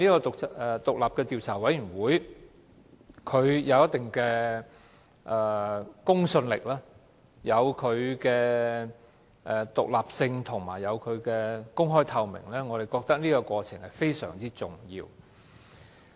獨立調查委員會具有一定的公信力，而且獨立、公開及透明，我們認為這是非常重要的。